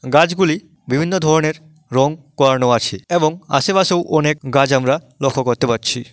গাছগুলি বিভিন্ন ধরনের রং করানো আছে এবং আশেপাশেও অনেক গাছ আমরা লক্ষ্য করতে পারছি।